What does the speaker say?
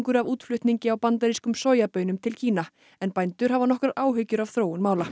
af útflutningi á bandarískum sojabaunum til Kína en bændur hafa nokkrar áhyggjur af þróun mála